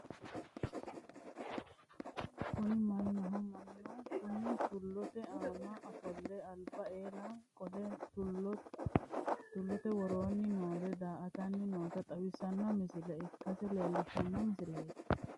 Kuni mannaho mannu kunni tullote aana fule alba eela qole tullote woroonni noore daa'attanni noota xawissano misile ikkase leellishshanno misileeti.